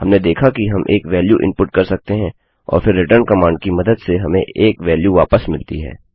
हमने देखा कि हम एक वेल्यू इनपुट कर सकते हैं और फिर रिटर्न कमांड की मदद से हमें एक वेल्यू वापस मिलती है